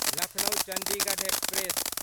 Lucknow Chandigarh express